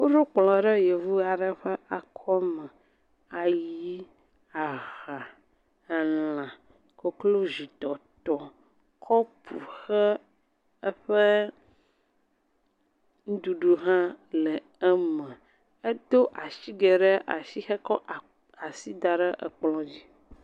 Woɖo kplɔ ɖe yevu aɖe ƒe akɔme, ayi, aha, elã koklozitɔtɔ, kɔpu xe eƒe nuɖuɖu hã le eme edo asige ɖe asi hekɔ asi da ɖe ekple dzi.